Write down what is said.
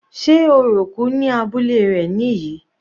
Sé orò òkú ní abúlé rẹ̀ níyì?